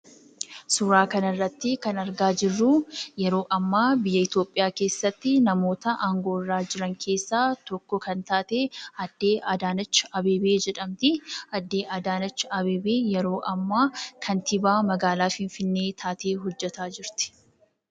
Suuraa kanarratti kan argaa jirru yeroo ammaa biyya Itoophiyaa keessatti namoota aangoo irra jiran keessaa tokko kan taate, aadde Adaanech Abeebee jedhamti. Aadde Adaanech Abeebee yeroo ammaa kantiibaa magaalaa Finfinnee taatee hojjetaa jirti.